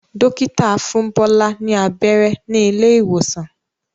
Dókítà fún Bola ní abẹ́rẹ́ ní ilé ìwòsàn.